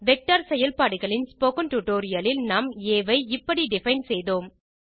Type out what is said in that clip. vector செயல்பாடுகளின் spoken tutorial இல் நாம் ஆ ஐ இப்படி டிஃபைன் செய்தோம்